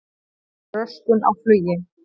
Röskun á flugi